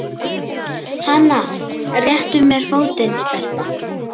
Hana réttu mér fótinn, stelpa!